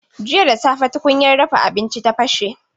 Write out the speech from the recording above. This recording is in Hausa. Jiya da safe tukunyar dafa abinci ta bashe.